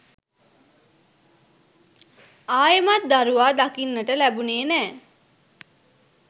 ආයෙමත් දරුවා දකින්නට ලැබුණෙ නෑ.